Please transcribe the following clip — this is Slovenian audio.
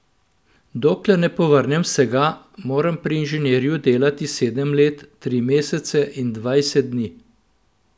Dokler ne povrnem vsega, moram pri inženirju delati sedem let, tri mesece in dvajset dni.